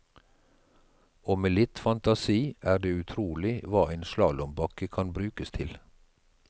Og med litt fantasi er det utrolig hva en slalåmbakke kan brukes til.